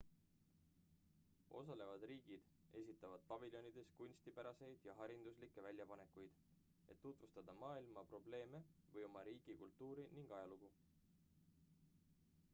osalevad riigid esitavad paviljonides kunstipäraseid ja hariduslikke väljapanekuid et tutvustada maailma probleeme või oma riigi kultuuri ning ajalugu